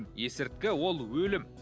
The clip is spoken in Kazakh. есірткі ол өлім